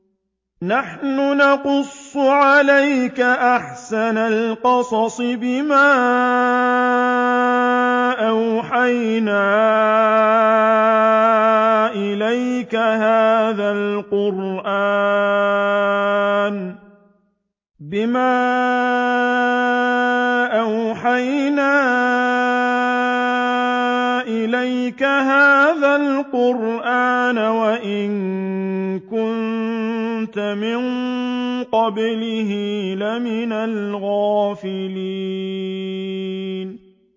نَحْنُ نَقُصُّ عَلَيْكَ أَحْسَنَ الْقَصَصِ بِمَا أَوْحَيْنَا إِلَيْكَ هَٰذَا الْقُرْآنَ وَإِن كُنتَ مِن قَبْلِهِ لَمِنَ الْغَافِلِينَ